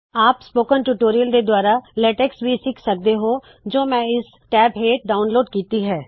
ਆਪ spoken tutorial ਦੇ ਦੂਆਰਾ ਲੇਟੇਕ੍ ਭੀ ਸਿੱਖ ਸਕਦੇ ਹੋ ਜੋ ਮੈ ਇਸ ਟੈਬ ਹੇਠ ਡਾਉਨਲੋਡ ਕੀਤੀ ਹੈ